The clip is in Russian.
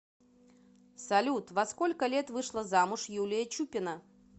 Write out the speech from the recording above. салют во сколько лет вышла замуж юлия чупина